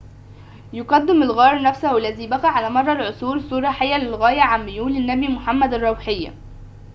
يقدم الغار نفسه الذي بقى على مر العصور صورة حية للغاية عن ميول النبي محمد الروحية